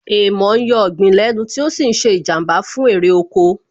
Èèmọ̀ ń yọ ọ̀gbìn lẹ́nu tí ó sì ń ṣe Ìjàmbá fún èrè oko